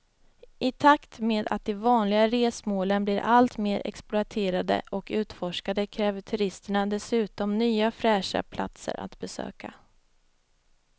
I takt med att de vanliga resmålen blir allt mer exploaterade och utforskade kräver turisterna dessutom nya fräscha platser att besöka.